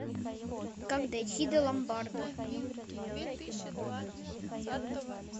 как дойти до ломбарда